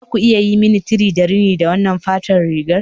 Za ku iya yi mani tini da rini da wannan farar rigar